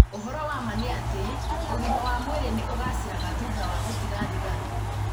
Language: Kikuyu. Ũhoro wa ma nĩ atĩ, ũgima wa mwĩrĩ nĩ ũgaacagĩra thutha wa gũtiga thigara.